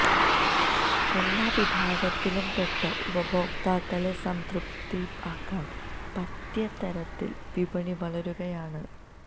എല്ലാ വിഭാഗത്തിലും പെട്ട ഉപഭോക്താക്കളെ സംതൃപ്തരാക്കാൻ പറ്റിയ തരത്തിൽ വിപണി വളരുകയാണ്